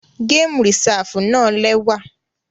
Gamu Risafu náa lẹwa.